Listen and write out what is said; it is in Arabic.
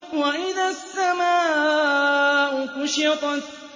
وَإِذَا السَّمَاءُ كُشِطَتْ